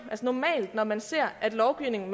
normalt når man ser at lovgivning